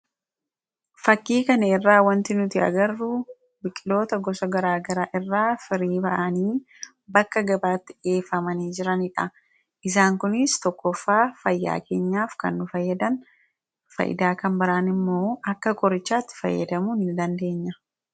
Fakkii kana irraa waan nuti arginu biqiloota gosa gara garaa irraa firii bahanii bakka gara garaatti geeffamanii jiranidha. Isaan kunis tokkoffaa, fayyaa keenyaaf kan nu fayyadan, kan biraan immoo akka qorichaatti fayyadamuu ni dandeenya.